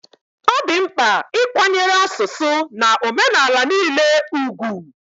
Ọ dị mkpa ịkwanyere asụsụ na omenala niile ùgwù